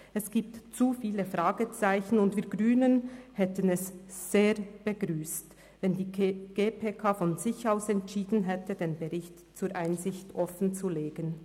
Es gibt zu viele Fragezeichen, und wir Grünen hätten es begrüsst, wenn die GPK von sich aus entschieden hätte, den Bericht zur Einsicht offenzulegen.